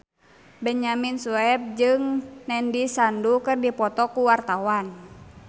Benyamin Sueb jeung Nandish Sandhu keur dipoto ku wartawan